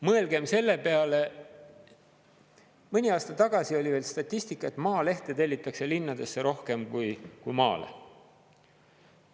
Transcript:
Mõelgem selle peale, mõni aasta tagasi oli veel statistika, et Maalehte tellitakse linnadesse rohkem kui maale.